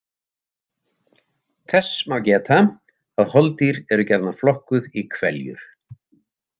Þess má geta að holdýr eru gjarnan flokkuð í hveljur.